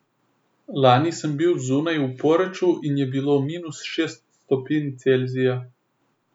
Lani sem bil zunaj v Poreču in je bilo minus šest stopinj Celzija.